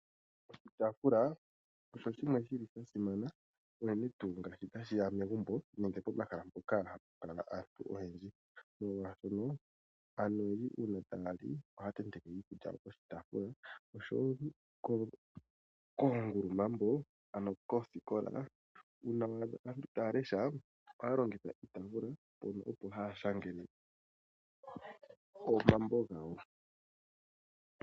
Oshitaafula osha simana unene ngele tashiya megumbo nenge pomahala mpoka hapu kala aantu oyendji, molwashoka aantu oyendji uuna taya li ohaya tenteke iikulya piitaafula. Koongulumambo nokoosikola uuna to adha aantu taya lesha ohaya longitha iitaafula, ano oko haya shangele omambo gawo.